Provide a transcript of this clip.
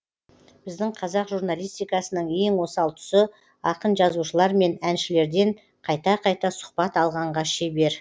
біздің қазақ журналистикасының ең осал тұсы ақын жазушылар мен әншілерден қайта қайта сұхбат алғанға шебер